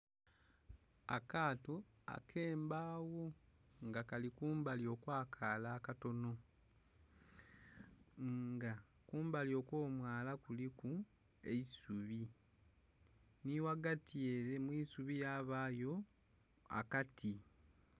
Akaato akembagho nga kali kumbali okwa kaala akatonho nga kumbali okwo mwala kuliku eisubi nhi ghagati ere mwisubi yabayo akati.